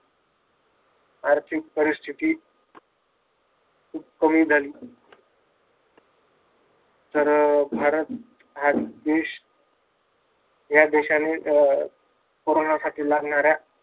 आर्थिक परीस्थिती खूप कमी झाली. तर भारत हा देश ह्या देशाने अं कोरोनासाठी लागणाऱ्या